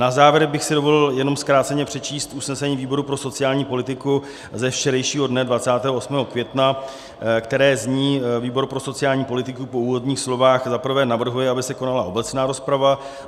Na závěr bych si dovolil jenom zkráceně přečíst usnesení výboru pro sociální politiku ze včerejšího dne 28. května, které zní: Výbor pro sociální politiku po úvodních slovech, za prvé, navrhuje, aby se konala obecná rozprava.